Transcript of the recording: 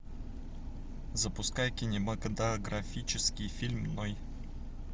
запускай кинематографический фильм ной